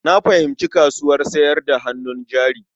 Na fahimci kasuwar sayar da hannun jari.